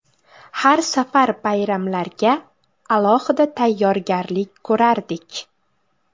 Har safar bayramlarga alohida tayyorgarlik ko‘rardik.